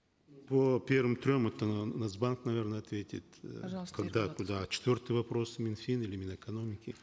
по первым трем это нац банк наверно ответит э пожалуйста когда куда а четвертый вопрос мин фин или мин экономики